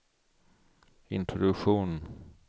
introduktion